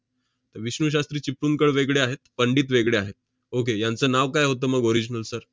विष्णू शास्त्री चिपळूणकर वेगळे आहेत, पंडित वेगळे आहेत. okay यांचं नाव काय होतं मग original sir?